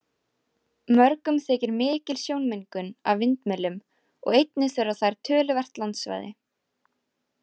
Mörgum þykir mikil sjónmengun af vindmyllum og einnig þurfa þær töluvert landsvæði.